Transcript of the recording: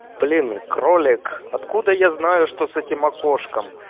блин кролик откуда я знаю что с этим окошком